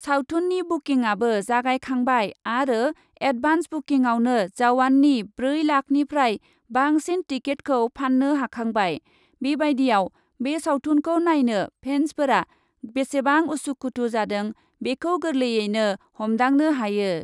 सावथुननि बुकिंआबो जागायखांबाय आरो एडभान्स बुकिंआवनो जावाननि ब्रै लाखनिफ्राय बांसिन टिकेटखौ फान्नो हाखांबाय, बेबायदिआव बे सावथुनखौ नायनो फेन्सफोरा बेसेबां उसु खुथु जादों बेखौ गोरलैयैनो हमदांनो हायो।